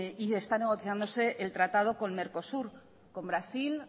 y está negociándose el tratado con mercosur con brasil